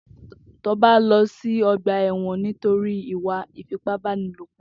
Toba n lọ si ọgbà ẹwọn nitórì ìwà ifipábánilópọ̀